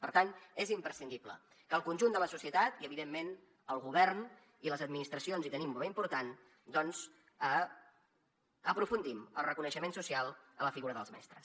per tant és imprescindible que el conjunt de la societat i evidentment el govern i les administracions hi tenim un paper important doncs aprofundim el reconeixement social a la figura dels mestres